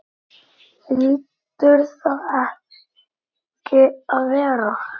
Hlýtur það ekki að vera?